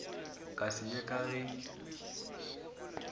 ka se ye ka ge